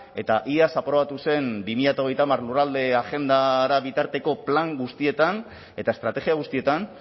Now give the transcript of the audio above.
eta iaz aprobatu zen bi mila hogeita hamar lurralde agendara bitarteko plan guztietan eta estrategia guztietan